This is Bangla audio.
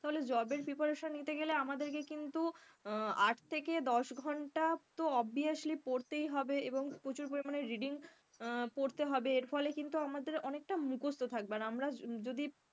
তাহলে job এর preparation নিতে গেলে আমাদেরকে কিন্তু আহ আট থেকে দশ ঘণ্টা তো obviously পড়তেই হবে এবং প্রচুর পরিমাণে reading আহ পড়তে হবে এর ফলে কিন্তু আমাদের অনেকটা মুখস্ত থাকবে আর আমরা যদি,